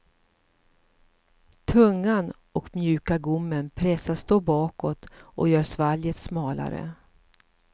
Tungan och mjuka gommen pressas då bakåt och gör svalget smalare.